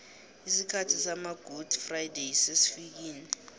isikhathi sama gudi frayideyi sesifikile